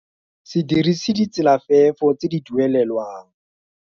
Se dirise ditselafefo tse di duelelwang.